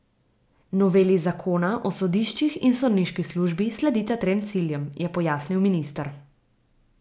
Noveli zakona o sodiščih in sodniški službi sledita trem ciljem, je pojasnil minister.